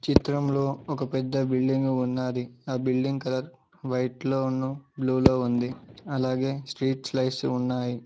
చిత్రంలో ఒక పెద్ద బిల్డింగు ఉన్నది ఆ బిల్డింగ్ కలర్ వైట్ లోను బ్లూ లో ఉంది అలాగే స్ట్రీట్ లైట్స్ ఉన్నాయి.